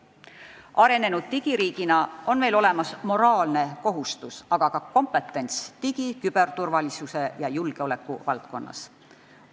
Arenenud digiriigina on meil olemas moraalne kohustus, aga ka kompetents digi-, küberturvalisuse ja julgeoleku valdkonnas.